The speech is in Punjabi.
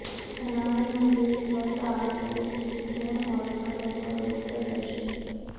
ਅਨਾਜ ਮੰਡੀ ਵਿੱਚੋਂ ਝਾੜ ਫੂਸ ਚੁੱਕਦੀਆਂ ਔਰਤਾਂ ਵੱਲੋਂ ਰੋਸ ਪ੍ਰਦਰਸ਼ਨ